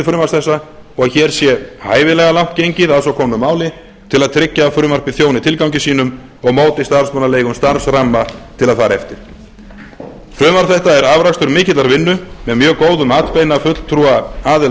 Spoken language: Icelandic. segi frumvarps þessa og hér sé hæfilega langt gengið að svo komnu máli til að tryggja að frumvarpið þjóni tilgangi sínum og móti starfsmannaleigum starfsmanna til að fara eftir frumvarp þetta er afrakstur mikillar vinnu með mjög góðum atbeina fulltrúa aðila